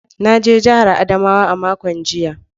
Na je jihar Adamawa a makon jiya.